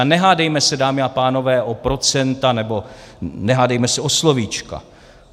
A nehádejme se, dámy a pánové, o procenta nebo nehádejme se o slovíčka.